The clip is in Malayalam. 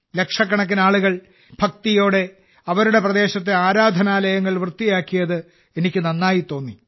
ലക്ഷക്കണക്കിന് ആളുകൾ ഭക്തിയോടെ അവരുടെ പ്രദേശത്തെ ആരാധനാലയങ്ങൾ വൃത്തിയാക്കിയത് എനിക്ക് നന്നായി തോന്നി